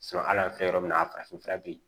ala fɛ yɔrɔ min na a farafin fura bɛ yen